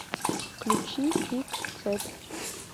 включи пик цепь